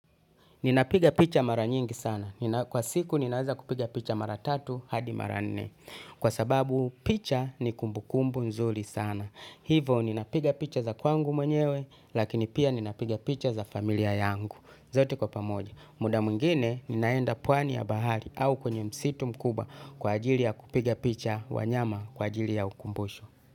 Ninapiga picha mara nyingi sana. Kwa siku ninaweza kupiga picha mara tatu hadi mara nne. Kwa sababu picha ni kumbukumbu nzuri sana. Hivo ninapiga picha za kwangu mwenyewe lakini pia ninapiga picha za familia yangu. Zote kwa pamoja. Muda mwingine ninaenda pwani ya bahari au kwenye msitu mkubwa kwa ajili ya kupiga picha wanyama kwa ajili ya ukumbusho.